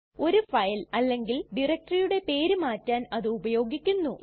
ഒരു ഫയൽ അല്ലെങ്കിൽ ഡയറക്ടറിയുടെ പേര് മാറ്റാൻ അത് ഉപയോഗിക്കുന്നു